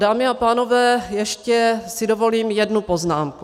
Dámy a pánové, ještě si dovolím jednu poznámku.